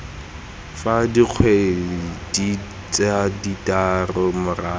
fela dikgwedi tse thataro morago